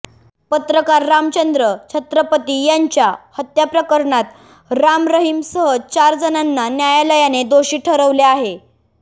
पत्रकार रामचंद्र छत्रपती यांच्या हत्या प्रकरणात राम रहिमसह चार जणांना न्यायालयाने दोषी ठरवले आहे